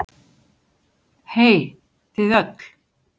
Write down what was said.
Hey þið öll.